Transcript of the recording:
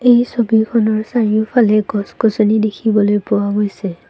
এই ছবিখনৰ চাৰিওফালে গছ-গছনি দেখিবলৈ পোৱা গৈছে।